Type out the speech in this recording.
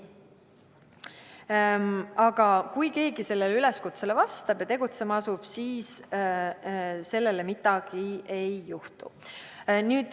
Aga kui keegi sellele üleskutsele vastab ja tegutsema asub, siis sellega midagi ei juhtu.